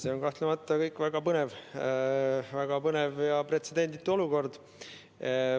See on kahtlemata väga põnev ja pretsedenditu olukord.